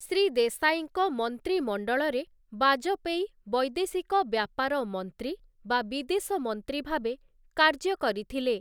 ଶ୍ରୀ ଦେଶାଇଙ୍କ ମନ୍ତ୍ରୀମଣ୍ଡଳରେ ବାଜପେୟୀ ବୈଦେଶିକ ବ୍ୟାପାର ମନ୍ତ୍ରୀ, ବା ବିଦେଶ ମନ୍ତ୍ରୀ, ଭାବେ କାର୍ଯ୍ୟ କରିଥିଲେ ।